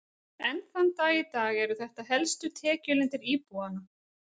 Enn þann dag í dag eru þetta helstu tekjulindir íbúanna.